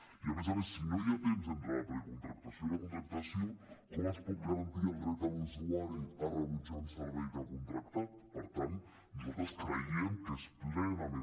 i a més a més si no hi ha temps entre la precontractació i la contractació com es pot garantir el dret de l’usuari a rebutjar un servei que ha contractat per tant nosaltres creiem que és plenament